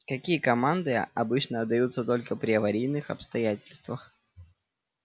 какие команды обычно отдаются только при аварийных обстоятельствах